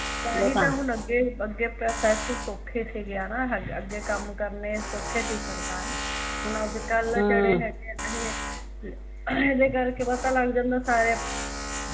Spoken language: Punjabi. ਤਾਂ ਹੀਂ ਅੱਗੇ ਹੁਣ ਅੱਗੇ ਪ੍ਰੋਸੱਸ ਸੋਖੇ ਸੀ ਨਾ ਅੱਗੇ ਕੰਮ ਕਰਨੇ ਸੋਖੇ ਸੀ ਸਰਕਾਰੀ ਹੁਣ ਅੱਜ ਕੱਲ੍ ਜਿਹੜੇ ਹਮ ਹੈਗੇ ਨਾ ਏਹ ਏਹਦੇ ਕਰ ਕੇ ਪਤਾ ਲੱਗ ਜਾਂਦਾ ਸਾਰਿਆ ਨੂ